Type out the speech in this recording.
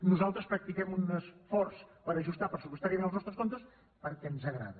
nosaltres practiquem un esforç per ajustar pressupostàriament els nostres comptes perquè ens agrada